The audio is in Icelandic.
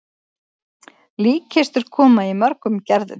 Líkkistur koma í mörgum gerðum.